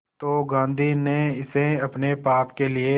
तो गांधी ने इसे अपने पाप के लिए